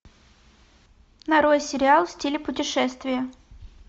нарой сериал в стиле путешествие